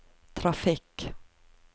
trafikk